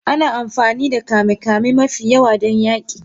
Ana amfani da kame-kame mafi yawa don yaƙi.